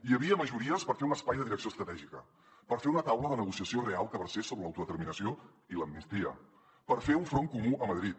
hi havia majories per fer un espai de direcció estratègica per fer una taula de negociació real que versés sobre l’autodeterminació i l’amnistia per fer un front comú a madrid